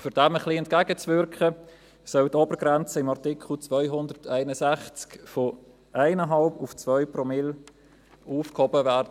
Um dem ein bisschen entgegenzuwirken, soll die Obergrenze in Artikel 261 von 1,5 auf 2 Promille angehoben werden.